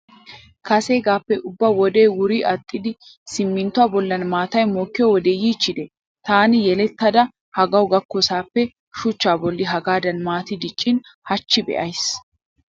Kaseegaappekka ubba wodee wuri aaxxidi simminttuwa bollan maatay mokkiyo wode yiichchide. Taani yelettada hagawu gakkoosappe shuchcha bolli hagaadan maati diccin hachchi be'ays.